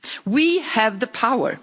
We have the power.